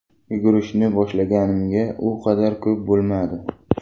Yugurishni boshlaganimga u qadar ko‘p bo‘lmadi.